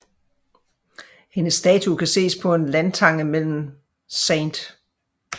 Hendes statue kan ses på en landtange mellem St